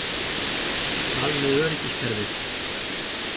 Hvað með öryggiskerfið?